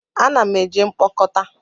A na m eje mkpokota